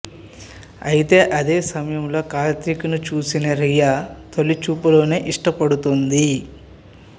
అయితే అదే సమయంలో కార్తీక్ ను చూసిన రియా తొలిచూపులోనే ఇష్టపడుతుంది